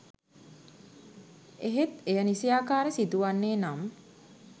එහෙත් එය නිසියාකාර සිදුවන්නේ නම්